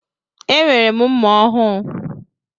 Enwere m mma ọhụụ.